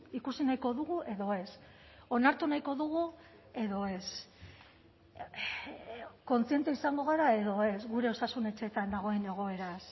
ikusi nahiko dugu edo ez onartu nahiko dugu edo ez kontziente izango gara edo ez gure osasun etxeetan dagoen egoeraz